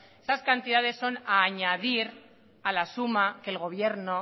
esas cantidades son a añadir a la suma que el gobierno